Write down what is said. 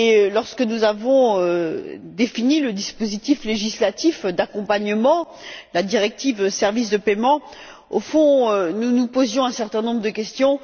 Lorsque nous avons défini le dispositif législatif d'accompagnement la directive sur les services de paiement nous nous posions un certain nombre de questions.